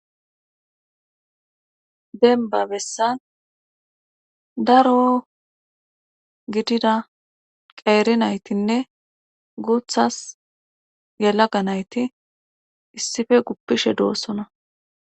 Denba bessan daro gidida qeeri naytinne guuthas yalaga nayti issife guppishe doossona.